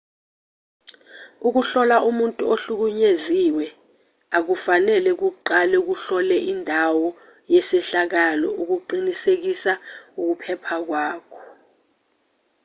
ukuhlola umuntu ohlukunyeziwe a kufanele kuqalauhlole indawo yesehlakalo ukuqinisekisa ukuphepha kwakho